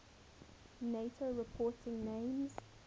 nato reporting names